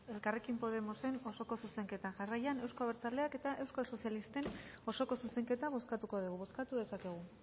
elkarrekin podemosen osoko zuzenketa jarraian euzko abertzaleak eta euskal sozialistek osoko zuzenketa bozkatuko dugu bozkatu dezakegu